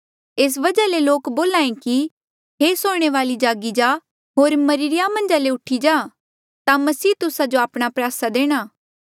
एस वजहा ले लोक बोल्हे कि हे सोणे वाले जागी जा होर मरिरे या मन्झा ले उठी जा ता मसीह तुस्सा जो आपणा प्रयासा देणा